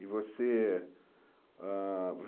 E você ãh